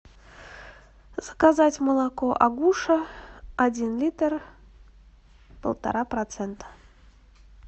заказать молоко агуша один литр полтора процента